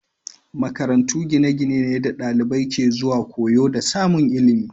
Makarantu gine-gine ne da dalibai ke zuwa koyo da samun ilimi